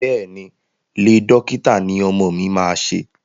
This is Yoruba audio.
Bẹ́ẹ̀ ni, Iẹ́ dókítà ní ọmọ mi máa ṣe.